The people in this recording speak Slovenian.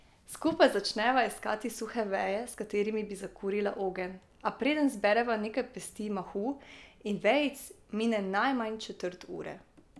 Skupaj začneva iskati suhe veje, s katerimi bi zakurila ogenj, a preden zbereva nekaj pesti mahu in vejic, mine najmanj četrt ure.